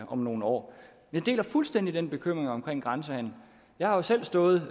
om nogle år jeg deler fuldstændig bekymringen omkring grænsehandelen jeg har jo selv stået